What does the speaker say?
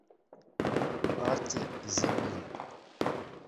арти землин